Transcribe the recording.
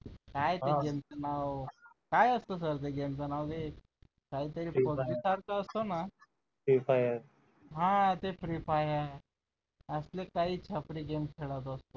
काय त्याला म्हणाव काय असतं sir ते गेमच नाव काय तरी असतो ना तेच आहे हा ते free fire असले काही छपरी गेम खेळत असतो